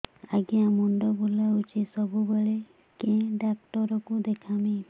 ଆଜ୍ଞା ମୁଣ୍ଡ ବୁଲାଉଛି ସବୁବେଳେ କେ ଡାକ୍ତର କୁ ଦେଖାମି